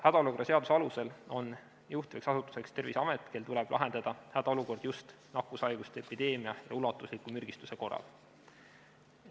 Hädaolukorra seaduse alusel on juhtivaks asutuseks Terviseamet, kel tuleb lahendada hädaolukord just nakkushaiguste epideemia ja ulatusliku mürgistuse korral.